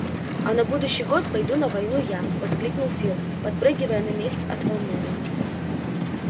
а на будущий год пойду на войну я воскликнул фил подпрыгивая на месте от волнения